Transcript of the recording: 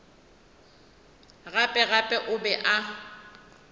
gape gape o be a